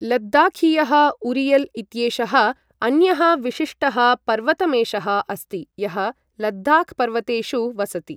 लद्दाखीयः urial इत्येषः अन्यः विशिष्टः पर्वतमेषः अस्ति यः लद्दाख पर्वतेषु वसति।